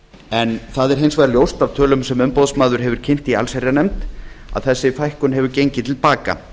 en það er hins vegar ljóst af tölum sem umboðsmaður hefur kynnt í allsherjarnefnd að þessi fækkun hefur gengið til baka